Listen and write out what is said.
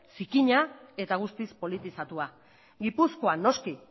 zikina eta guztiz politizatua gipuzkoan noski